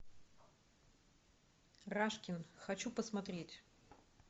рашкин хочу посмотреть